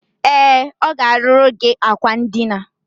E, o ga-aruru gi akwa ndina.